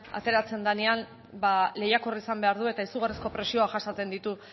ateratzen denean ba lehiakorra izan behar du eta izugarrizko presioak jasaten ditu